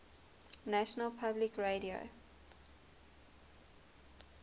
national public radio